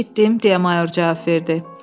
Eşitdim, deyə mayor cavab verdi.